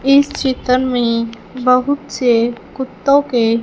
इस चित्र में बहुत से कुत्तों के--